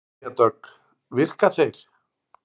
Freyja Dögg: Virka þeir?